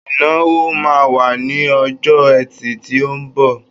Ìnáwó máa wà ní ọjọ́ ẹtì tí ó ńbọ̀.